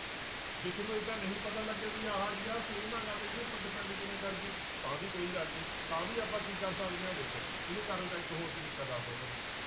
ਜੇ ਤੁਹਾਨੂੰ ਏਦਾਂ ਨਹੀਂ ਪਤਾ ਲੱਗਿਆ ਵੀ ਆਹ ਜੀ ਆਹ same ਹੈਗਾ ਤੇ ਇਹਦੇ ਉੱਪਰ depend ਕਿਵੇਂ ਕਰ ਗਈ ਤਾਂ ਵੀ ਕੋਈ ਗੱਲ ਨੀ ਤਾਂ ਵੀ ਆਪਾਂ ਕੀ ਕਰ ਸਕਦੇ ਹਾਂ ਦੇਖੋ ਇਹਨੂੰ ਕਰਨ ਦਾ ਇੱਕ ਹੋਰ ਤਰੀਕਾ ਦੱਸਦਾਂ ਤੁਹਾਨੂੰ ਮੈਂ।